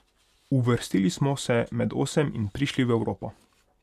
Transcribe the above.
Uvrstili smo se med osem in prišli v Evropo.